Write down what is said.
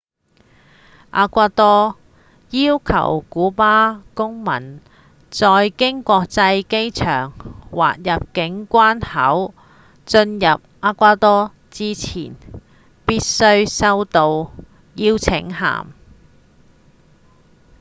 厄瓜多要求古巴公民在經國際機場或入境關口進入厄瓜多之前必須收到邀請函